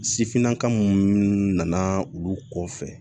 Sifinnaka minnu nana olu kɔfɛ